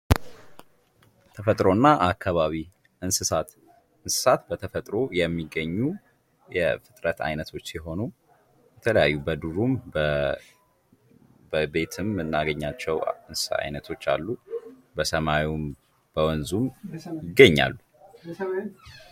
ተፈጥሮና አካባቢ እንስሳት እንስሳት በተፈጥሮ የሚገኙ የፍጥረት አይነቶች ሲሆኑ፤ የተለያዩ በዱሩም በቤትም የምናገኛቸው እንስሳት አይነቶች አሉ፤ በሰማዩው በወንዙም ይገኛሉ።